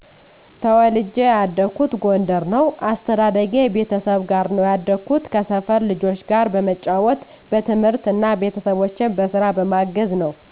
ተወልጄ ያደኩት ጎንደር ነው። አስተዳደጌ ቤተሰብ ጋር ነው ያደኩት፣ ከሰፈር ልጆች ጋር በመጫዎት፣ በትምህርት እና ቤተሰቦቼን በስራ በማገዘ ነው።